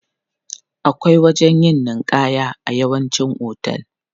Akwai wajen yin ninƙaya a yawancin hotel.